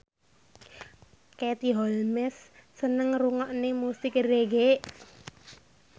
Katie Holmes seneng ngrungokne musik reggae